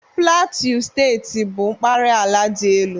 Plateau Steeti bụ mpaghara ala dị elu